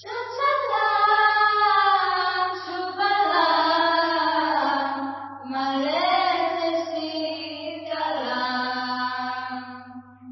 ସୁଜଳାଂ ସୁଫଳାଂ ମଳୟଜଶୀତଳାମ୍